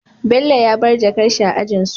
Bello ya bar jakar shi a ajinsu